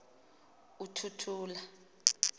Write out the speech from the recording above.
uthuthula